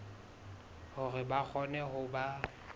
hore ba kgone ho ba